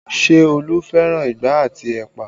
Ṣé Olu fẹ́ràn igbá àti ẹ̀pà?